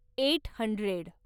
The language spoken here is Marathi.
eight hundred